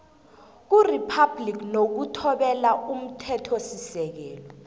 kuriphabhligi nokuthobela umthethosisekelo